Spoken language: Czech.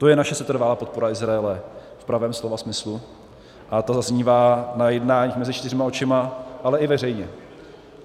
To je naše setrvalá podpora Izraele v pravém slova smyslu a ta zaznívá na jednáních mezi čtyřma očima, ale i veřejně.